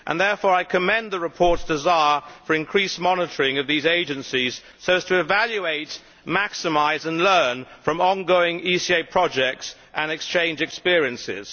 Therefore I commend the report's desire for increased monitoring of these agencies so as to evaluate, maximise and learn from ongoing ECA projects and exchange experiences.